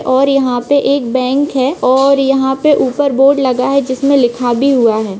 और यहाँ पे एक बैंक है और यहाँ पे ऊपर बोर्ड लगा है जिसमे लिखा भी हुआ है।